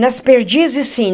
Nas perdizes, sim.